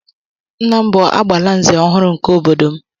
Nna m bu "agbala nzé" ọhụrụ nke obodo m